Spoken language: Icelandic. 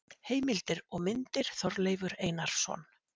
Heimild og myndir: Þorleifur Einarsson.